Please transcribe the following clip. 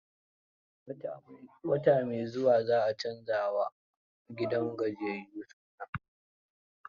Wata mai zuwa za a canza a wa gidan gajiyayyun suna.